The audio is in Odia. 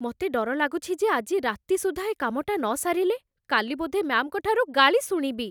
ମତେ ଡର ଲାଗୁଛି ଯେ ଆଜି ରାତି ସୁଦ୍ଧା ଏ କାମଟା ନସାରିଲେ, କାଲି ବୋଧେ ମ୍ୟାମ୍‌ଙ୍କୁ ଠାରୁ ଗାଳି ଶୁଣିବି ।